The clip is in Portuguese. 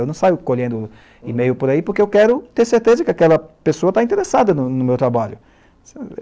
Eu não saio colhendo e-mail por aí porque eu quero ter certeza que aquela pessoa está interessada no no meu trabalho.